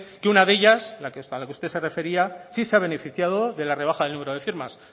que una de ellas a la que usted se refería sí se ha beneficiado de la rebaja del número de firma